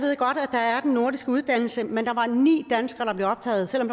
der er den nordiske uddannelse men der var ni danskere der blev optaget selv om